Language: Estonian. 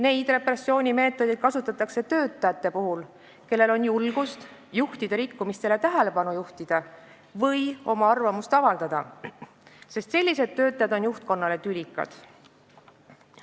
Neid repressioonimeetodeid kasutatakse töötajate puhul, kellel on julgust juhtida juhi rikkumistele tähelepanu või oma arvamust avaldada, sest sellised töötajad on juhtkonnale tülikad.